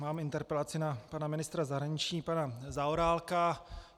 Mám interpelaci na pana ministra zahraničí pana Zaorálka.